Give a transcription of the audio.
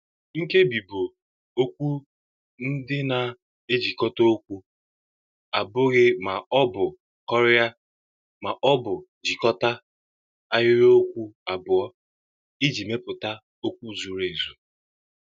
Nkebi bụ okwu ndị na-ejikọta okwu abụghị ma ọ bụ kọrịa, ma ọ bụ jikọta ahịrịokwu abụọ iji mepụta okwu zuru ezu.